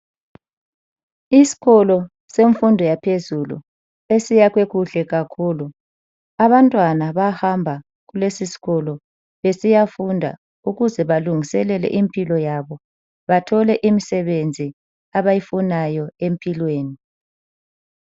Isikolo semfundo yaphezulu esiyakhwe kuhle kakhulu, abantwana bahamba kulesi sikolo besiya funda ukuze balungiselele impilo yabo bathole imsebenzi abayifunayo empilweni.